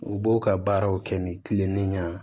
U b'o ka baaraw kɛ ni kilininan ye